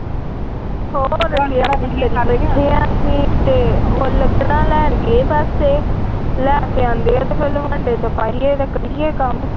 ਬੇਠੈ ਆ ਅਸੀਂ ਤੇ ਉਹ ਲੱਕੜਾ ਲਹਿਣ ਗਏ ਬਸ ਲਹਿ ਕੇ ਆਉਂਦੇ ਤੇ ਲਵਾਂਦੇ ਚ ਪਾਈਏ ਤੇ ਕਰੀਏ ਕੰਮ ।